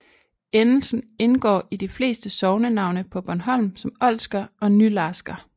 Endelsen indgår i de fleste sognenavne på Bornholm som Olsker og Nylarsker